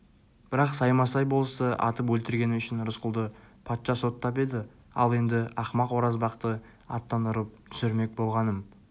бірақ саймасай болысты атып өлтіргені үшін рысқұлды патша соттап еді ал енді ақымақ оразбақты аттан ұрып түсірмек болғаным